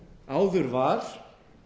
áður var